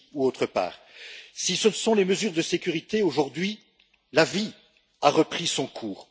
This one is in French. Mis à part les mesures de sécurité, aujourd'hui la vie a repris son cours.